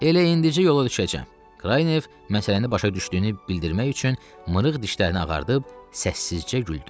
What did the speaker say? "Elə indicə yola düşəcəm" Kraynev məsələni başa düşdüyünü bildirmək üçün mırıq dişlərini ağardıb səssizcə güldü.